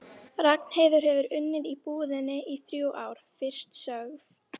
Ragnheiður hefur unnið í búðinni í þrjú ár, fyrst sögð